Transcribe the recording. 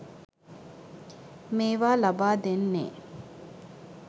මේවා ලබා දෙන්නේ.